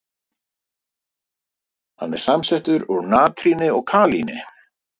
Hann er samsettur úr natríni og kalíni.